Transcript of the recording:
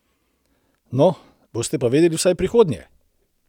No, boste pa vedeli vsaj v prihodnje!